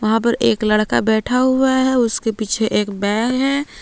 यहां पे एक लड़का बैठा हुआ है उसके पीछे एक बैग है।